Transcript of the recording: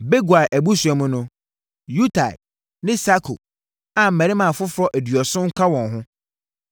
Bigwai abusua mu no: Utai ne Sakur a mmarima afoforɔ aduɔson ka wɔn ho.